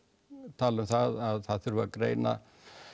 tala um það að það þurfi að greina